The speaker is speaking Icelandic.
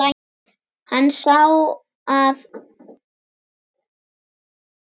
Hann sá að